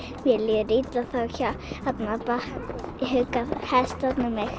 mér líður illa þá hugga hestarnir mig